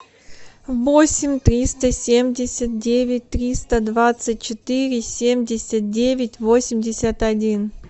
восемь триста семьдесят девять триста двадцать четыре семьдесят девять восемьдесят один